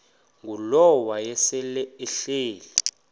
ngulowo wayesel ehleli